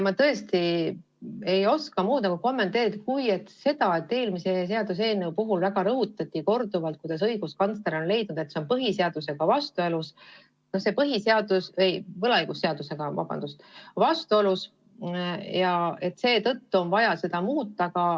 Ma tõesti ei oska kommenteerida muud kui seda, et eelmise seaduseelnõu puhul rõhutati korduvalt, kuidas õiguskantsler on leidnud, et see on võlaõigusseadusega vastuolus ja seetõttu on vaja seda muuta.